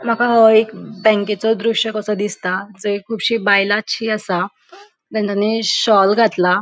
माका हो एक बॅंकेचो दृश्य कसो दिसता जय खुबशी बायला शी आसा शॉल घातला.